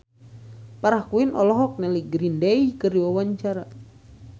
Farah Quinn olohok ningali Green Day keur diwawancara